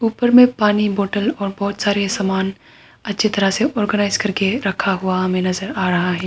ऊपर में पानी का बोतल और बहुत सारे सामान अच्छी तरफ से ऑर्गनाइज कर के रखा हुआ हमे नजर आ रहा है।